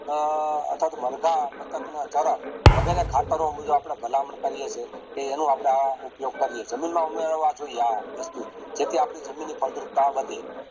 અથવા તો માર્ગ બતક ને વગેરે ખતરો મુજબ આપડે ભલામણ કરીએ તોહ એનું આપડે ઉપયોગ કરીએ જમીન માં ઉમેરવા જોયીયે જેથી આપણી જમીનની ફળદ્રુપતા વધે